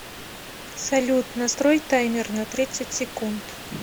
салют настрой таймер на тридцать секунд